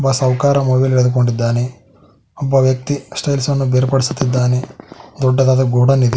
ಸಾಹುಕಾರ ಮೊಬೈಲ್ ಹಿಡಿದುಕೊಂಡಿದ್ದಾನೆ ಒಬ್ಬ ವ್ಯಕ್ತಿ ಅನ್ನು ಬೇರ್ಪಡಿಸುತ್ತಿದ್ದಾನೆ ದೊಡ್ಡದಾದ ಗೋಡೌನ್ ಇದೆ.